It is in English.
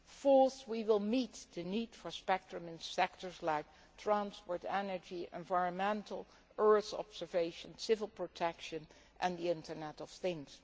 Fourth, we will meet the need for spectrum in sectors like transport, energy, the environment, earth observation, civil protection and the internet of things.